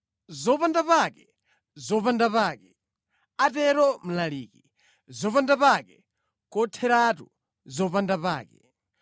“Zopandapake! Zopandapake!” atero Mlaliki. “Zopandapake kotheratu! Zopandapake.”